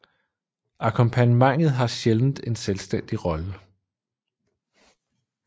Akkompagnementet har sjældent en selvstændig rolle